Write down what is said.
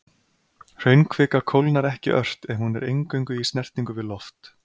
Hraunkvika kólnar ekki ört ef hún er eingöngu í snertingu við loft.